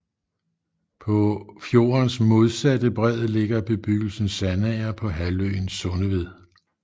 På fjordens modsatte bred ligger bebyggelsen Sandager på halvøen Sundeved